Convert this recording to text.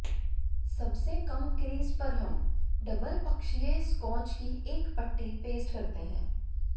सबसे कम क्रीज़ पर हम डबल पक्षीय स्कॉच की एक पट्टी पेस्ट करते हैं